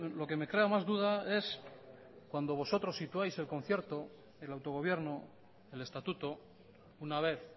lo que me crea más duda es cuando vosotros situáis el concierto el autogobierno el estatuto una vez